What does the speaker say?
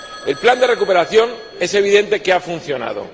El plan de recuperación es evidente que ha funcionado.